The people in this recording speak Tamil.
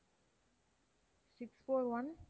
six four one